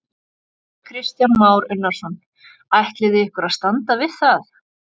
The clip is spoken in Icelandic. Kristján Már Unnarsson: Ætlið þið ykkur að standa við það?